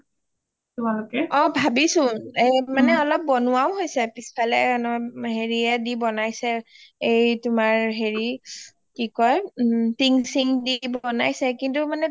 অ ভাবিছোঁ এই মানে অলপ বনোৱাও হৈছে পিছফালে পিছফালে অলপ হেৰিয়ে দি বজাইছে তোমাৰ হেৰি তোমাৰ কি কয় টিং সিং দি বজাইছে কিন্তু মানে